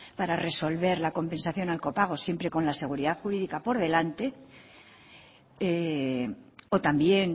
para resolver la compensación al copago siempre con la seguridad jurídica por delante o también